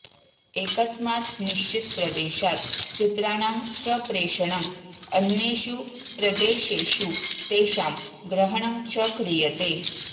एकस्मात् निश्चितप्रदेशात् चित्राणां सम्प्रेषणम् अन्येषु प्रदेशेषु तेषां ग्रहणं च क्रियते